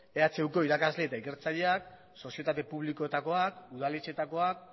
ehuko irakasle eta ikertzaileak sozietate publikoetakoak udaletxeetakoak